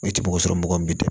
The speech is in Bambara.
I tɛ mɔgɔ sɔrɔ mɔgɔ min bɛ dun